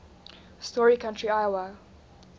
story county iowa